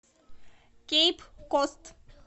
кейп кост